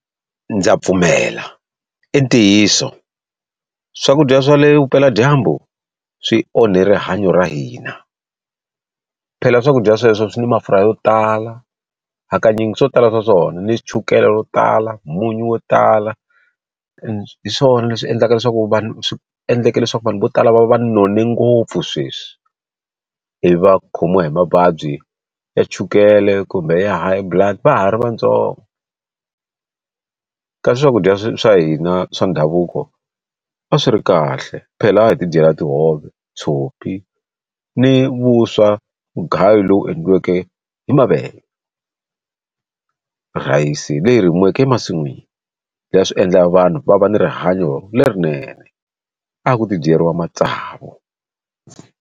Ndza pfumela i ntiyiso swakudya swa le vupeladyambu swi onhe rihanyo ra hina phela swakudya sweswo swi na mafurha yo tala hakanyingi swo tala swa swona ni chukele ro tala munyu wo tala hi swona leswi endlaka leswaku vanhu swi endleke leswaku vanhu vo tala va va none ngopfu sweswi ivi va khomiwa hi mavabyi ya chukele kumbe ya high blood va ha ri vatsongo ka swakudya swa hina swa ndhavuko a swi ri kahle phela a hi ti dyela tihove tshopi ni vuswa mugayu lowu endliweke hi mavele rhayisi leyi rimiweke emasin'wini swi endla vanhu va va ni rihanyo lerinene a ku ti dyeriwa matsavu.